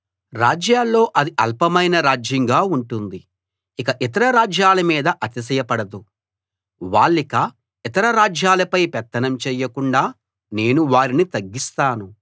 రాజ్యాల్లో అది అల్పమైన రాజ్యంగా ఉంటుంది ఇక ఇతర రాజ్యాల మీద అతిశయపడదు వాళ్ళిక ఇతర రాజ్యాలపై పెత్తనం చేయకుండా నేను వారిని తగ్గిస్తాను